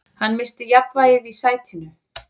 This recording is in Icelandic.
Hann missti jafnvægið í sætinu.